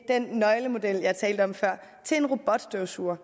den nøglemodel jeg talte om før til en robotstøvsuger